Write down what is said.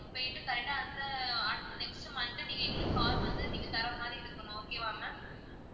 போயிட்டு correct ஆ அந்த அடுத்து next monday நீங்க எங்களுக்கு car வந்து நீங்க தர்ற மாதிரி இருக்கணும் okay வா ma'am